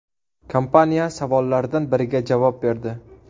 Kompaniya savollardan biriga javob berdi.